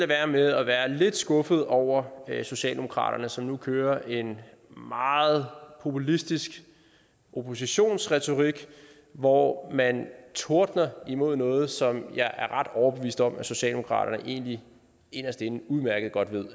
være med at være lidt skuffet over socialdemokratiet som nu kører en meget populistisk oppositionsretorik hvor man tordner imod noget som jeg er ret overbevist om at socialdemokratiet egentlig inderst inde udmærket godt ved